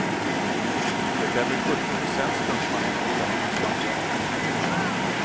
Det är väl sjuttio procent stuntmannen och trettio procent jag.